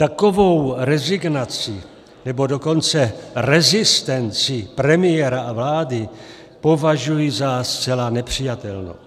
Takovou rezignaci, nebo dokonce rezistenci premiéra a vlády považuji za zcela nepřijatelnou.